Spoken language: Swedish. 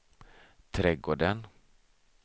trädgården